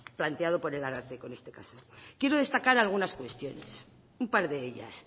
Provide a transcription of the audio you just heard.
planteado por el ararteko en este caso quiero destacar algunas cuestiones un par de ellas